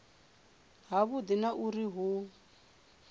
ha vhudi na uri hu